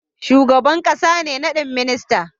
Shugaban ƙasa ne nadin ministoci